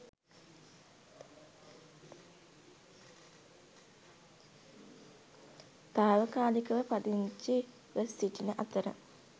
තාවකාලිකව පදිංචිව සිටින අතර